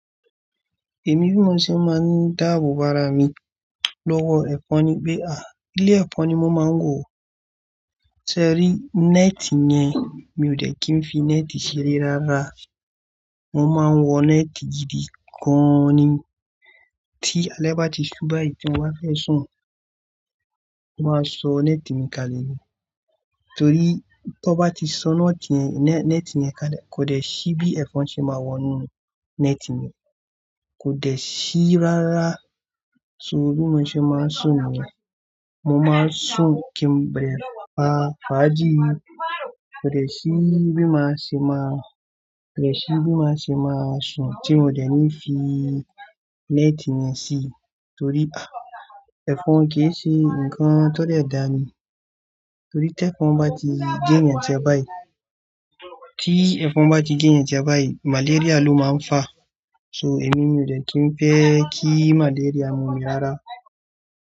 Èmi bí mo ṣe máa ń dáàbòbo ára mi lọ́wọ́ ẹ̀fọn ni pé à, ilé ẹ̀fọn ni mo máa ń wọ̀. Ṣé ẹ rí, nẹ́ẹ̀tì ni yẹ́n, mi ò dẹ̀ kí n fi nẹ́ẹ̀tì ṣeré rárá. Mo máa ń wọ nẹ́ẹ̀tì gidi gan ni. Tí alẹ́ bá ti ṣú báyìí tí mo bá fẹ́ sùn, mo máa sọ nẹ́ẹ̀tì mi kalẹ̀ ni. Torí ti wọ́n bá ti sọ nẹ́ẹ̀tì yẹn nẹ́ẹ̀tì yẹn ka lè, kò dẹ̀ sí bí ẹ̀fọn ṣe máa wọ inú nẹ́ẹ̀tì mi. Kò dẹ̀ sí rárá. So bí mo ṣe máa ń sùn ni ẹ́. Mo máa ń sùn kí n bẹ̀rẹ̀ pa fàájì. Kò dẹ̀ sí bí máa ṣe máa, kò dẹ̀ sí bí máa ṣe máa sùn tí n ò dẹ̀ ní fi nẹ́ẹ̀tì mi sí, torí à, ẹ̀fọn kì í ṣe nǹkan tó dè dáa ni. Torí tí ẹ̀fọn bá ti gé ènìyàn jẹ báyìí, tí ẹ̀fọn bá ti gé ènìyàn jẹ báyìí, màlaríà ló máa ń fà. So, èmi ni ò dé kí n fẹ́ kí malaria mú mi rárá.